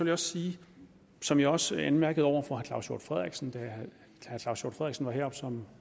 jeg sige som jeg også anmærkede over for claus hjort frederiksen da han var heroppe